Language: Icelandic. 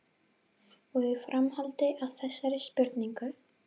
Og í framhaldi af þessari spurningu